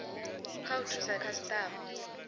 nga u thusa khasitama